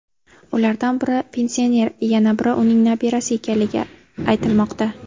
Ulardan biri pensioner, yana biri uning nabirasi ekanligi aytilmoqda.